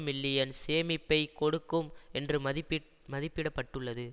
million சேமிப்பை கொடுக்கும் என்று மதிப்பீட் மதிப்பிட பட்டுள்ளது